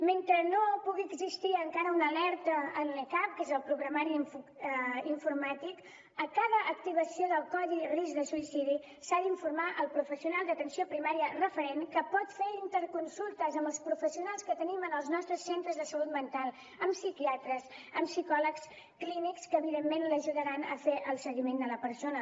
mentre no pugui existir encara una alerta en l’e cap que és el programari informàtic a cada activació del codi risc de suïcidi s’ha d’informar el professional d’atenció primària referent que pot fer interconsultes amb els professionals que tenim en els nostres centres de salut mental amb psiquiatres amb psicòlegs clínics que evidentment l’ajudaran a fer el seguiment de la persona